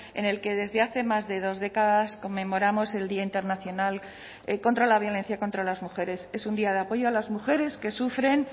en el que desde hace más de dos décadas conmemoramos el día internacional contra la violencia contra las mujeres es un día de apoyo a las mujeres que sufren